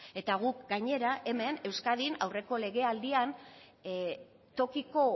eta guk gainera hemen euskadin aurreko legealdian tokiko